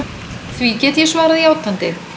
Því get ég svarað játandi.